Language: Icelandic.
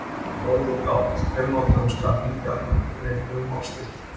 Orðið gáll er notað um skaplyndi almennt en einnig um ofsakæti.